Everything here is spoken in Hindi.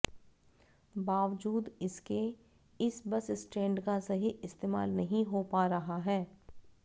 बावजूद इसके इस बस स्टैण्ड का सही इस्तेमाल नहीं हो पा रहा है